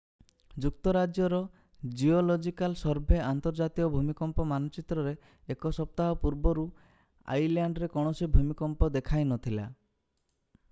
ଯୁକ୍ତ ରାଜ୍ୟର geological survey ଆନ୍ତର୍ଜାତୀୟ ଭୂମିକମ୍ପ ମାନଚିତ୍ରରେ ଏକ ସପ୍ତାହ ପୂର୍ବରୁ ଆଇଲ୍ୟାଣ୍ଡରେ କୌଣସି ଭୂମିକମ୍ପ ଦେଖାଇ ନଥିଲା